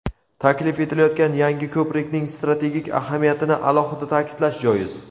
Taklif etilayotgan yangi ko‘prikning strategik ahamiyatini alohida ta’kidlash joiz.